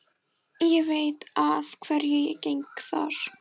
Ég veit að hverju ég geng þar.